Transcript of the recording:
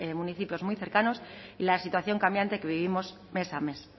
municipios muy cercanos y la situación cambiante que vivimos mes a mes